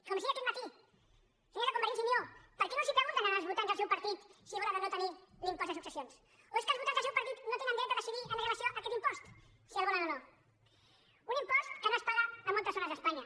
com els deia aquest matí senyors de convergència i unió per què no els pregunten als votants del seu partit si volen o no tenir l’impost de successions o és que els votants del seu partit no tenen dret a decidir amb relació a aquest impost si el volen o no un im post que no es paga a moltes zones d’espanya